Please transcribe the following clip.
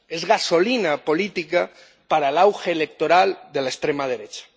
Es gasolina política para el auge electoral de la extrema derecha.